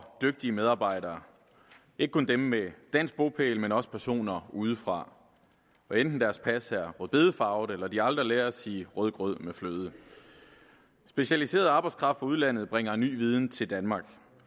dygtige medarbejdere ikke kun dem med dansk bopæl men også personer udefra hvad enten deres pas er rødbedefarvet eller de aldrig lærer at sige rødgrød med fløde specialiseret arbejdskraft fra udlandet bringer ny viden til danmark